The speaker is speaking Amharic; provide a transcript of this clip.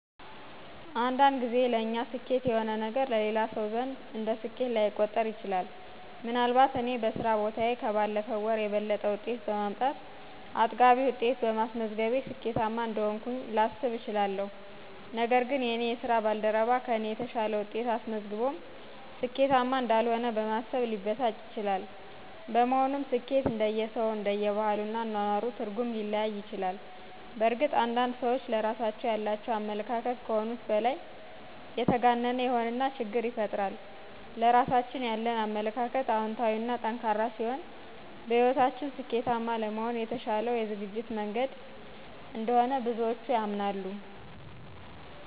አንዳንድ ጊዜ ለእኛ ስኬት የሆነ ነገር በሌላ ሰው ዘንድ እንደ ስኬት ላይቆጠር ይችላል። ምን አልባት እኔ በስራ ቦታዬ ከባለፈው ወር የበለጠ ውጤት በማምጣት አጥጋቢ ውጤት በማስመዝገቤ ስኬታማ እንደሆንኩኝ ላስብ እችላለሁ ነገር ግን የእኔ የስራ ባልደረባ ከእኔ የተሻለ ውጤት አስመዝግቦም ስኬታማ እንዳልሆነ በማሰብ ሊበሳጭ ይችላል። በመሆኑም ስኬት እንደየሰዉ፣ እንደባህሉ እና አኖኖሩ ትርጉም ሊለያይ ይችላል። በእርግጥ አንዳንድ ሰዎች ለራሳቸው ያላቸው አመለካከት ከሆኑት በላይ የተጋነነ ይሆንና ችግር ይፈጠራል። ለራሳችን ያለን አመለካከት አወንታዊ እና ጠንካራ ሲሆን በህይወታችን ስኬታማ ለመሆን የተሻለው የዝግጅት መንገድ እንደሆነ ብዙዎች ያምናሉ።